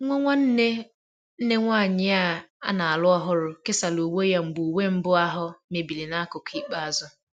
Nwa nwanne nne nwanyị a na-alụ ọhụrụ kesara uwe ya mgbe uwe mbụ ahụ mebiri n'akụkụ ikpeazụ